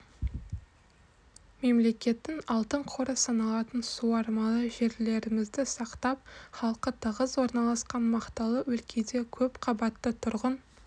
мемлекеттің алтын қоры саналатын суармалы жерлерімізді сақтап халқы тығыз орналасқан мақталы өлкеде көп қабатты тұрғын